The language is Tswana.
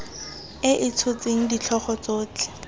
e e tshotseng ditlhogo tsotlhe